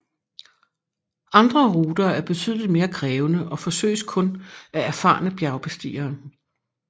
Andre ruter er betydeligt mere krævende og forsøges kun af erfarne bjergbestigere